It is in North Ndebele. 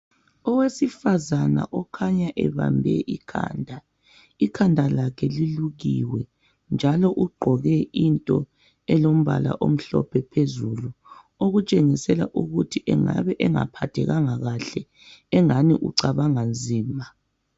Owesifazana okhanya ebambe ikhanda ulukiwe njalo ugqoke okulombala omhlophe Ukhanya ukuthi engabe engaphathekanga kuhle njalo ecabanga nzima